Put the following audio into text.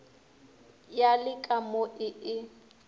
ya le ka mo e